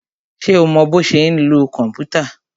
Ṣé o mọ bọ́ ṣe ń lo kòmpútà?